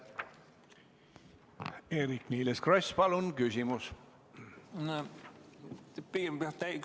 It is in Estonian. Eerik-Niiles Kross, palun küsimus!